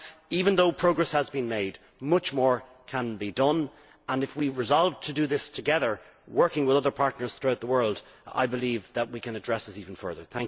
Even though progress has been made, much more can be done, and if we resolve to do this together, working with other partners throughout the world, I believe that we can address this even further.